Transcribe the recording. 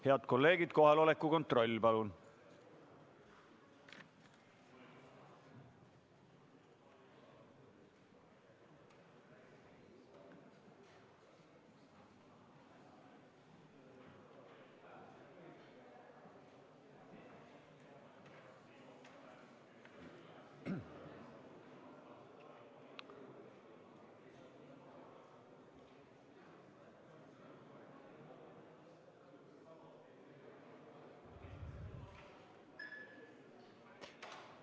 Head kolleegid, kohaloleku kontroll, palun!